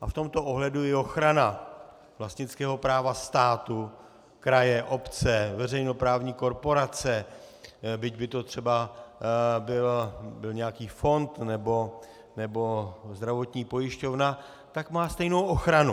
A v tomto ohledu i ochrana vlastnického práva státu, kraje, obce, veřejnoprávní korporace, byť by to třeba byl nějaký fond nebo zdravotní pojišťovna, tak má stejnou ochranu.